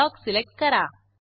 block select करा